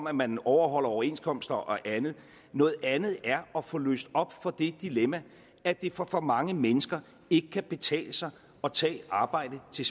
at man overholder overenskomster og andet noget andet er at få løst op for det dilemma at det for for mange mennesker ikke betale sig at tage arbejde til